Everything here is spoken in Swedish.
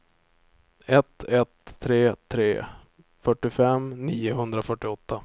ett ett tre tre fyrtiofem niohundrafyrtioåtta